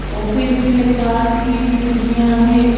Office में कांच की खिड़कियां हैं।